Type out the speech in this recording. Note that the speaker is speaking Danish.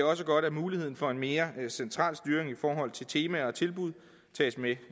også godt at muligheden for en mere central styring i forhold til temaer og tilbud tages med